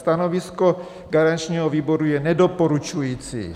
Stanovisko garančního výboru je nedoporučující.